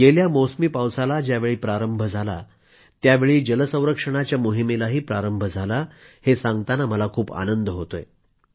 गेल्या मौसमी पावसाला ज्यावेळी प्रारंभ झाला त्यावेळी जल संरक्षणाच्या मोहिमेलाही प्रारंभ झाला हे सांगताना मला खूप आनंद होतोय